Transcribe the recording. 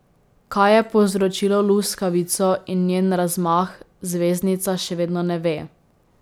Kaj je povzročilo luskavico in njen razmah, zvezdnica še vedno ne ve.